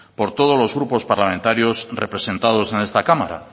por todos los grupos parlamentarios representados en esta cámara